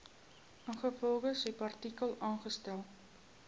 ingevolge subartikel aangestel